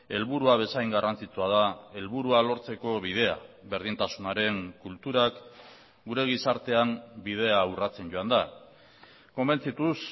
helburua bezain garrantzitsua da helburua lortzeko bidea berdintasunaren kulturak gure gizartean bidea urratzen joan da konbentzituz